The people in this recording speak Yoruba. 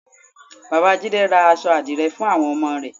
Bàbá jídé ra aṣọ àdìrẹ fún àwọn ọmọ rẹ̀